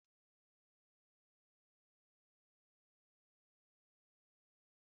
Chris na-enwe mmasị iji ihe dị iche iche na-eme ofe okro ya.